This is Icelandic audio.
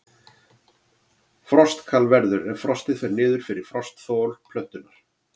Frostkal verður ef frostið fer niður fyrir frostþol plöntunnar.